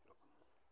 Erokamano.